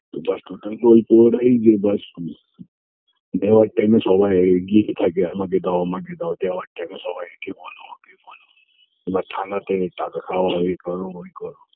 তো just ওটাই ওই পুরোটাই যে বয়স নেওয়ার time -এ সবাই এগিয়েই থাকে আমাকে দাও আমাকে দাও দেওয়ার time -এ সবাই একে বলো ওকে বলো এবার থানাতে টাকা খাওয়াও এই করো ঐ করো